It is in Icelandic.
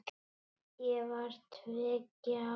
Ég var tveggja ára.